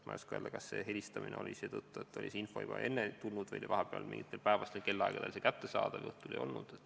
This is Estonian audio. Ma ei oska öelda, kas see helistamine oli tulutu seetõttu, et see info oli juba enne saadud, või oli vahepeal mingitel päevastel kellaaegadel see abi kättesaadav ja õhtul enam ei olnud.